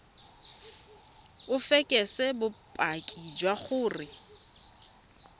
o fekese bopaki jwa gore